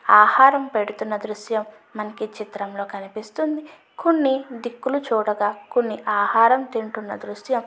ఆహారం పెడుతన దృశ్యం మనకి ఈ చిత్రం లో కనిపిస్తుంది కొన్ని దిక్కుల్లు చూడగా కొన్ని ఆహారం తింటున్న దృశ్యం --